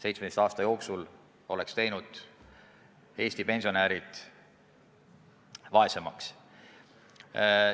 17 aasta jooksul olnud, Eesti pensionärid vaesemaks teinud.